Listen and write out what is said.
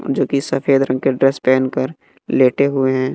जो की सफेद रंग के ड्रेस पहेन कर लेटे हुए हैं।